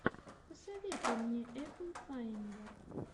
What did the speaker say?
посоветуй мне эпл файндер